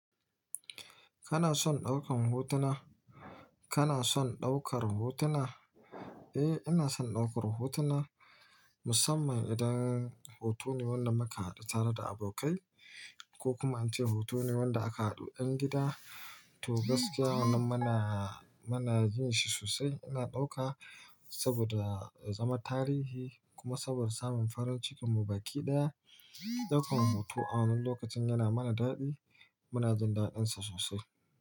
Kana son ɗaukar hotuna? Kana son ɗaukar hotuna? Eh, ina son ɗaukar hotuna musamman idan hoto ne wanda muka haɗu tare da abokai ko kuma ance hoto ne wanda aka haɗu ɗan gida. To gaskiya wannan mana, mana jin shi sosai. Ina ɗauka saboda zama tarihi kuma saboda samun farin cikin mu baƙi ɗaya. Ɗaukar hoto a wannan lokacin yana mana daɗi. Muna jin daɗinsa sosai.